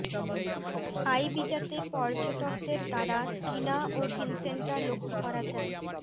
আইবিজাতে পর্যটকদের দ্বারা টিনা ও ভিনসেন্টা লক্ষ্য করা যায়